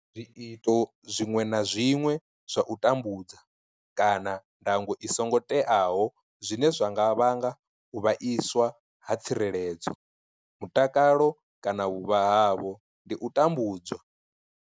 Zwiito zwiṅwe na zwiṅwe zwa u tambudza kana ndango i songo teaho zwine zwa nga vhanga u vhaiswa ha tsireledzo, mutakalo kana vhuvha havho ndi u tambudzwa.